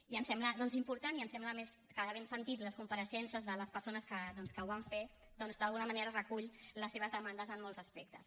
i ens sembla doncs important i ens sembla a més que havent sentit les compareixences de les persones que ho van fer d’alguna manera recull les seves demandes en molts aspectes